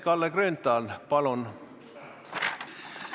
Kalle Grünthal, palun!